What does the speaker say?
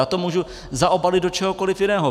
Já to můžu zaobalit do čehokoliv jiného.